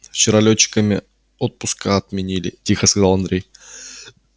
вчера лётчиками отпуска отменили тихо сказал андрей